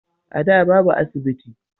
A da babu asibiti